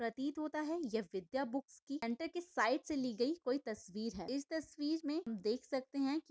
प्रतीत होता है ये विद्या बुक्स की साइड से ली गई कोई तस्वीर है इस तस्वीर मैं देख सकते है की--